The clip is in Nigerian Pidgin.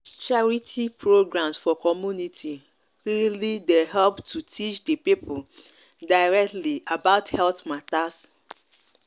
charity programs for community really dey help to teach the people directly about health matters.